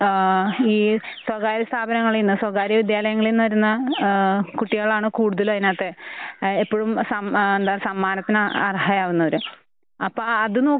ആഹ് ഈ സ്വകാര്യ സ്ഥാപനങ്ങളീന്ന് സ്വകാര്യ വിദ്യാലയങ്ങളീന്ന് വരുന്ന ആഹ് കുട്ടികളാണ് കൂടുതലും അതിനാത്ത് അ എപ്പഴും സം എന്ത സമ്മാനത്തിന് അർഹയാകുന്നവര്.